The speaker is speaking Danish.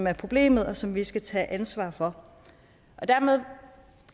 er problemet og som vi skal tage ansvar for dermed